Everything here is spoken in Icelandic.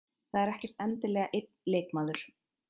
Það er ekkert endilega einn leikmaður.